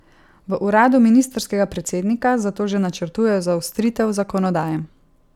V uradu ministrskega predsednika zato že načrtujejo zaostritev zakonodaje.